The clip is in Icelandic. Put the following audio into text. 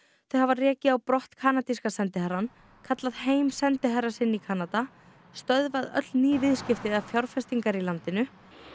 þau hafa rekið á brott kanadíska sendiherrann kallað heim sendiherra sinn í Kanada stöðvað öll ný viðskipti eða fjárfestingar í landinu